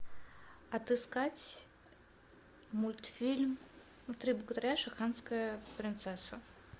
отыскать мультфильм три богатыря и шамаханская принцесса